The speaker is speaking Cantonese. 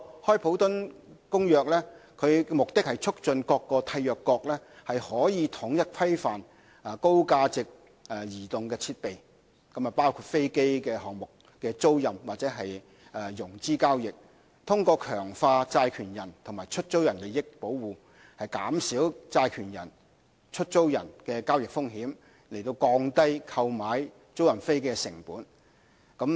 《開普敦公約》的目的是促進各締約國統一規範高價值的移動設備，包括飛機項目的租賃或融資交易，通過強化債權人和出租人的利益保護，減少債權人和出租人的交易風險，以降低購買租賃飛機的成本。